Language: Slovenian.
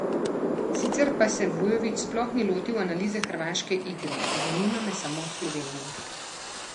Sicer pa se Vujović sploh ni lotil analize hrvaške igre: "Zanima me samo Slovenija.